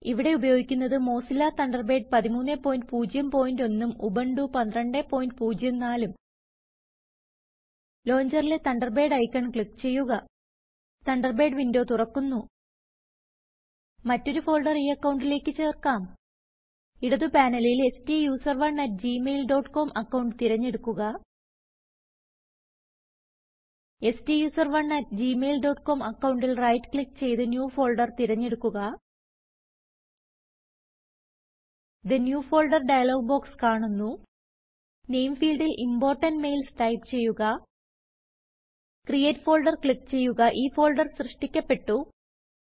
ഇവിടെ ഉപയോഗിക്കുന്നത് Mozilla Thunderbird 1301 ഉം ഉബുണ്ടു 1204 ഉം ലോഞ്ചറിലെ തണ്ടർബേർഡ് ഐക്കൺ ക്ലിക്ക് ചെയ്യുക തണ്ടർബേർഡ് windowതുറക്കുന്നു മറ്റൊരു ഫോൾഡർ ഈഅക്കൌണ്ടിലേക്ക് ചേർക്കാം ഇടത് പാനലിൽ stuserone at Gmail dot com account തിരഞ്ഞെടുക്കുക stuserone at Gmail dot com അക്കൌണ്ടിൽ റൈറ്റ് ക്ലിക്ക് ചെയ്ത് ന്യൂ ഫോൾഡർ തിരഞ്ഞെടുക്കുക തെ ന്യൂ Folderഡയലോഗ് ബോക്സ് കാണുന്നു നെയിം ഫീൽഡിൽ ഇംപോർട്ടന്റ് Mailsടൈപ്പ് ചെയ്യുക ക്രിയേറ്റ് ഫോൾഡർ ക്ലിക്ക് ചെയ്യുകഈ ഫോൾഡർ സൃഷ്ടിക്കപ്പെട്ടു